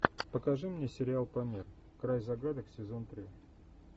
покажи мне сериал памир край загадок сезон три